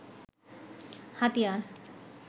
হাতিয়ার